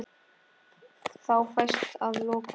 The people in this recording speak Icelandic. Þá fæst að lokum